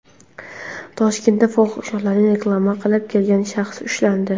Toshkentda fohishalarni reklama qilib kelgan shaxs ushlandi.